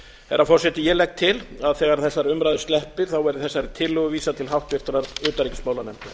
herra forseti ég legg til að þegar þessari umræðu sleppir verði þessari tillögu vísað til háttvirtrar utanríkismálanefndar